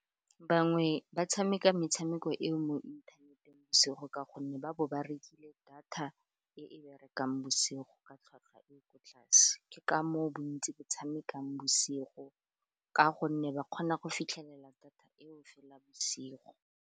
Bangwe ba tshameka metshameko eo mo inthaneteng bosigo, ka gonne ba bo ba rekile data e e berekang bosigo ka tlhwatlhwa e ko tlase, ke ka moo bontsi ba tshamekang bosigo ka gonne ba kgona go fitlhelela data eo fela bosigo.